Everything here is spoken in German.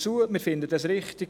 Wir finden es richtig.